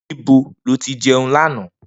Nibo lo ti jeun lana?